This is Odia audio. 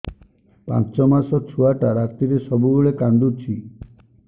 ପାଞ୍ଚ ମାସ ଛୁଆଟା ରାତିରେ ସବୁବେଳେ କାନ୍ଦୁଚି